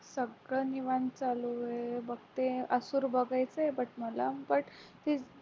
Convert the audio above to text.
सगळं निवांत चालू आहे बघते मसूर बघायचं but मला but